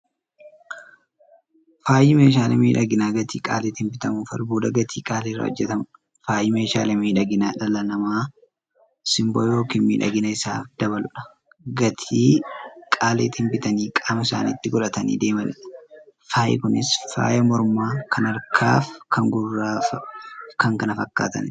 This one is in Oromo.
Faayyi meeshaalee miidhaginaa gatii qaalitiin bitamuufi albuuda gatii qaalii irraa hojjatamuudha. Faayyi meeshaalee miidhaginaa, dhalli namaa simboo yookiin miidhagina isaanii dabaluuf, gatii qaalitiin bitanii qaama isaanitti qodhatanii deemaniidha. Faayyi Kunis; faaya mormaa, kan harkaa, kan gurraafi kan kana fakkataniidha.